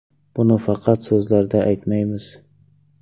Buni faqat so‘zlarda aytmaymiz.